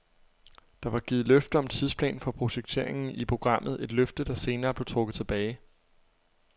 Der var givet løfte om tidsplan for projekteringen i programmet, et løfte, der senere blev trukket tilbage.